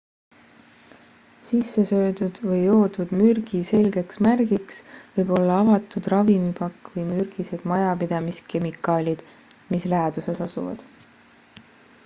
sissesöödud või joodud mürgi selgeks märgiks võib olla avatud ravimipakk või mürgised majapidamiskemikaalid mis läheduses asuvad